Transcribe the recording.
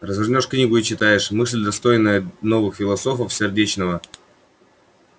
развернёшь книгу и читаешь мысль достойная древних и новых философов цвет разума и чувства сердечного